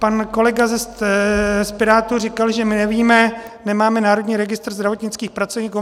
Pan kolega z Pirátů říkal, že my nevíme, nemáme Národní registr zdravotnických pracovníků.